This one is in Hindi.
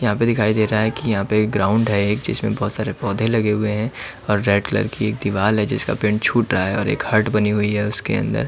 यहां पे दिखाई दे रहा है की यहाँ पे एक ग्राउंड है जिसमें बहुत सारे पौधे लगे हुए है और रेड कलर की एक दीवाल है जिसका पेण्ट छूट रहा है और एक हट बानी हुयी उसके अंदर --